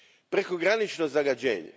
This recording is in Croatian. Prekogranično zagađenje.